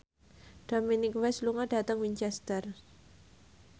Dominic West lunga dhateng Winchester